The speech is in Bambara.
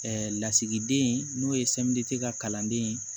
lasigiden n'o ye ka kalanden ye